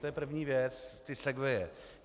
To je první věc, ty segwaye.